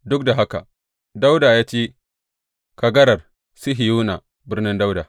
Duk da haka, Dawuda ya ci kagarar Sihiyona, Birnin Dawuda.